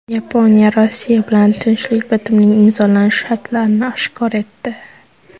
Yaponiya Rossiya bilan tinchlik bitimining imzolanishi shartlarini oshkor etdi.